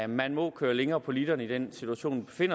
man må køre længere på literen i den situation vi